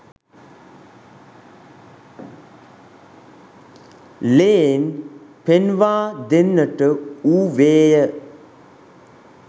lane පෙන්වා දෙන්නට වූවේය